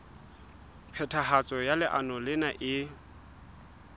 phethahatso ya leano lena e